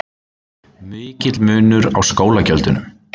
Mikill munur á skólagjöldunum